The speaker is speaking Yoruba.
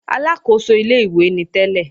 Aláàkóso ilé-ìwé ni tẹ́lẹ̀